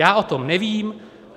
Já o tom nevím.